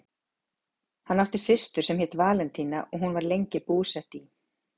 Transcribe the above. Hann átti systur sem hét Valentína og hún var lengi búsett í